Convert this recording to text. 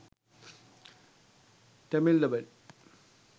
tamil dubbed